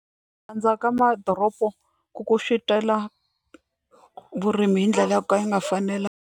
Ku andza ka madoropo ku ku vurimi hi ndlela yo ka yi nga fanela.